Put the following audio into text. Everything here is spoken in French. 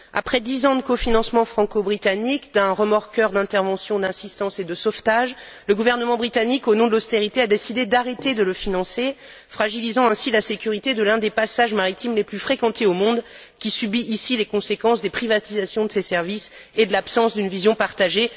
Après dix ans de cofinancement franco britannique d'un remorqueur d'intervention, d'assistance et de sauvetage, le gouvernement britannique, au nom de l'austérité, a décidé d'arrêter de le financer, fragilisant ainsi la sécurité de l'un des passages maritimes les plus fréquentés au monde, qui subit, en l'occurrence, les conséquences des privatisations de ces services et de l'absence d'une vision partagée.